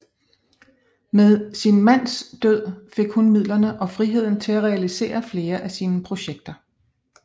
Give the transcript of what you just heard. Med sin mands død fik hun midlerne og friheden til at realisere flere af sine projekter